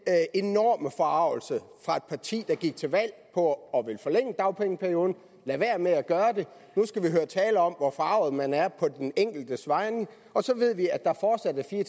enorme forargelse fra et parti der gik til valg på at ville forlænge dagpengeperioden og lader være med at gøre det nu skal vi høre taler om hvor forarget man er på den enkeltes vegne og så ved vi at der fortsat er fire